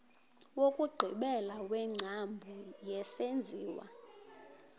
wokugqibela wengcambu yesenziwa